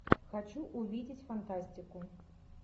хочу увидеть фантастику